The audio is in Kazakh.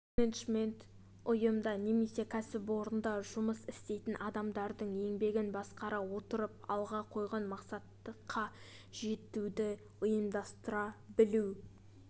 менеджмент ұйымда немесе кәсіпорында жұмыс істейтін адамдардың еңбегін басқара отырып алға қойған мақсатқа жетуді ұйымдастыра білу